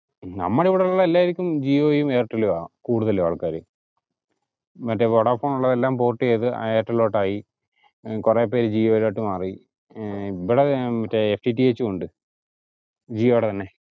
ഉം നമ്മടെ ഇവിടെയുള്ള എല്ലാരിക്കും ജിയോയും എർടെലുംആ കൂടുതലും ആൾക്കാരു മറ്റ് വൊഡാഫോൺ ഉള്ളതെല്ലും port ചെയ്‌ത്‌ ഐർട്ടിലോട്ട് ആയി ഉം കൊറേപ്പേര് ജിയോലോട്ട് മാറി ഏർ ഇവിടെ മറ്റേ FTTH ഉണ്ട് ജിയോടെ തന്നെ